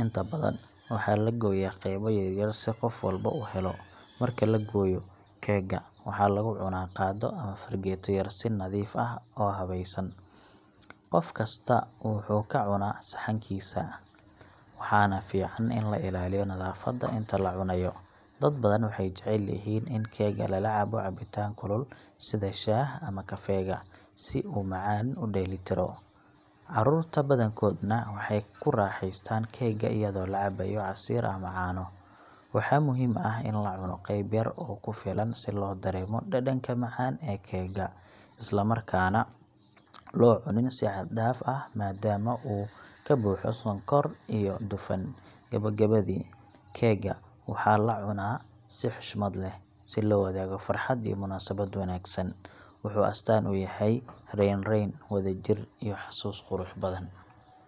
Inta badan, waxaa la gooyaa qaybo yaryar si qof walba u helo. Marka la gooyo, keega waxaa lagu cunaa qaaddo ama fargeeto yar, si nadiif iyo habaysan. Qof kasta wuxuu ka cunaa saxankiisa, waxaana fiican in la ilaaliyo nadaafadda inta la cunayo. Dad badan waxay jecel yihiin in keega lala cabo cabitaan kulul sida shaah ama kafeega, si uu macaan u dheellitiro. Carruurta badankoodna waxay ku raaxaystaan keega iyadoo la cabayo casiir ama caano. Waxaa muhiim ah in la cuno qeyb yar oo ku filan si loo dareemo dhadhanka macaan ee keega, isla markaana aan loo cunin si xad dhaaf ah maadaama uu ka buuxo sonkor iyo dufan. Gebogabadii, keega waxaa la cunaa si xushmad leh, si loo wadaago farxad iyo munaasabad wanaagsan. Wuxuu astaan u yahay raynrayn, wadajir, iyo xasuus qurux badan.